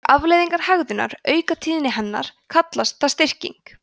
þegar afleiðingar hegðunar auka tíðni hennar kallast það styrking